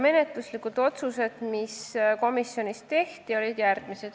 Menetluslikud otsused, mis komisjonis tehti, olid järgmised.